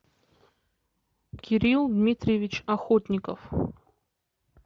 кирилл дмитриевич охотников